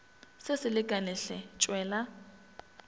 se se lekane hle tšwela